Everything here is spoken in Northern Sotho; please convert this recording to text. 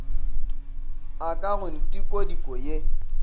a ka go ntikodiko ye